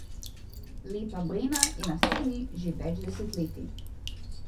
Lepa Brena je na sceni že več desetletij.